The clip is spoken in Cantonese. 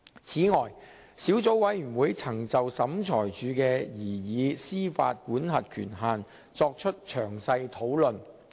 此外，小組委員會曾就小額錢債審裁處的民事司法管轄權限作出詳細討論。